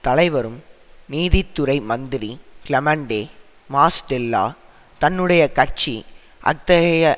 தலைவரும் நீதித்துறை மந்திரி கிளெமென்டே மாஸ்டேல்லா தன்னுடைய கட்சி அத்தகைய